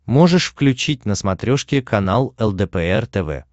можешь включить на смотрешке канал лдпр тв